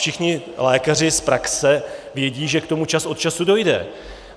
Všichni lékaři z praxe vědí, že k tomu čas od času dojde.